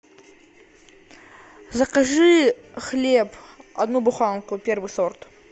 закажи хлеб одну буханку первый сорт